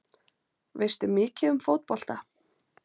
Veistu mikið um fótbolta?